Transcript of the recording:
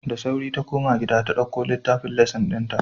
Da sauri ta koma gida ta dauko littafin lesson dinta.